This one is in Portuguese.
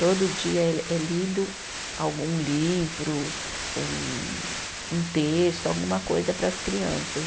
Todo dia é é lido algum livro, ou um, um texto, alguma coisa para as crianças.